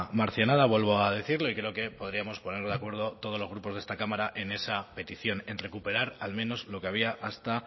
marcianada vuelvo a decirle creo que podríamos ponernos de acuerdo todos los grupos de esta cámara en esa petición en recuperar al menos lo que había hasta